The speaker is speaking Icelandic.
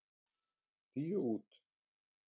Tíu út.